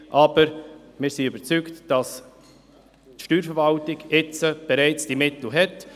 Wir sind jedoch überzeugt, dass die Steuerverwaltung bereits die Mittel hat.